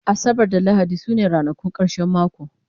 asabar da lahadi sune ranakun karshen mako